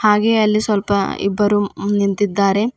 ಹಾಗೆ ಅಲ್ಲಿ ಸ್ವಲ್ಪ ಇಬ್ಬರು ಮ್ಮ್ ನಿಂತಿದ್ದಾರೆ.